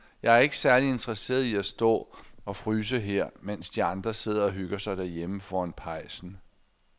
Jeg er ikke særlig interesseret i at stå og fryse her, mens de andre sidder og hygger sig derhjemme foran pejsen.